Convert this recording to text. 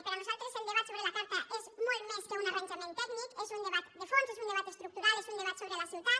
per a nosaltres el debat sobre la carta és molt més que un arranjament tècnic és un debat de fons és un debat estructural és un debat sobre la ciutat